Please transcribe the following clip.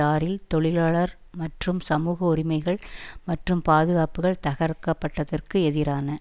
ஆறில் தொழிலாளர் மற்றும் சமூக உரிமைகள் மற்றும் பாதுகாப்புக்கள் தகர்க்கப்பட்டதற்கு எதிரான